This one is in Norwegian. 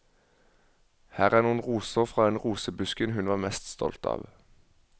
Her er noen roser fra den rosebusken hun var mest stolt av.